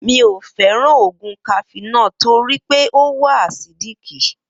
Miò fẹ́ràn oògùn cafenol torípé ọ wa àsídíìkì